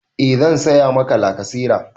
E zan saya Maka lakasera